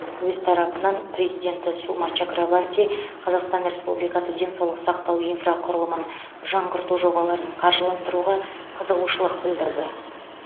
өз тарапынан президенті сума чакрабарти қазақстан республикасы денсаулық сақтау инфрақұрылымын жаңғырту жобаларын қаржыландыруға қызығушылық білдірді